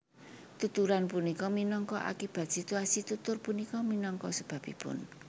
Tuturan punika minangka akibat situasi tutur punika minangka sebabipun